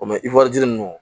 O mɛ ninnu